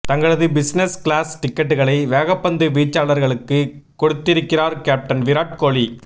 தங்களது business class டிக்கெட்டுகளை வேகப்பந்துவீச்சாளர்களுக்கு கொடுத்திருக்கிறார் கேப்டன் விராட் கோலி